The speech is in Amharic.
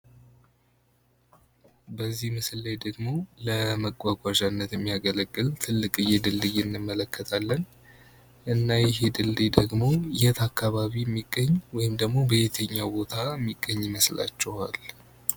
በዚህ ምስል ላይ ደግሞ ለመጓጓዥነት የሚያገለግል ትልቅየ ድልድይ አንመለከታለን። እና ይህ ድልድይ ደግሞ የት አካባቢ የሚገኝ ወይም ደሞ በየትኛው ቦታ የሚገኝ ይመስላቹሃል?